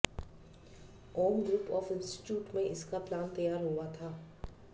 Om group of institute में इसका plan तैयार हुआ था